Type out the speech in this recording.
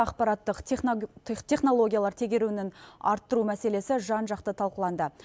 ақпараттық технологиялар тегеруінін арттыру мәселесі жан жақты талқыланды